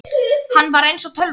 Hann var eins og tölva.